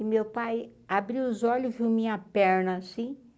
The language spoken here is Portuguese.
E meu pai abriu os olhos viu minha perna, assim.